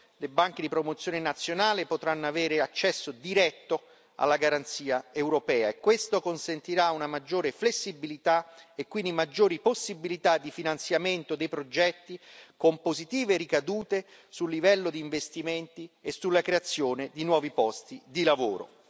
Le banche di promozione nazionale potranno avere accesso diretto alla garanzia europea, e questo consentirà una maggiore flessibilità e quindi maggiori possibilità di finanziamento dei progetti, con positive ricadute sul livello di investimenti e sulla creazione di nuovi posti di lavoro.